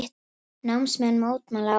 Námsmenn mótmæla áfram